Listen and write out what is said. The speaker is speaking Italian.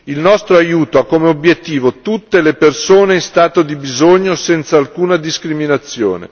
Il nostro aiuto ha come obiettivo tutte le persone in stato di bisogno senza alcuna discriminazione.